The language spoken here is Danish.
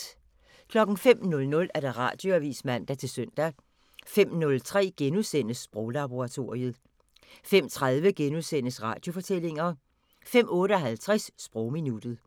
05:00: Radioavisen (man-søn) 05:03: Sproglaboratoriet * 05:30: Radiofortællinger * 05:58: Sprogminuttet